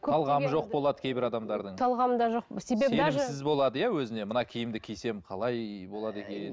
талғамы жоқ болады кейбір адамдардың талғамы да жоқ сенімсіз болады иә өзіне мына киімді кисем қалай болады екен